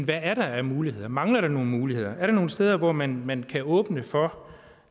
der er af muligheder mangler der nogle muligheder er der nogle steder hvor man man kan åbne op for